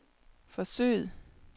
forsøget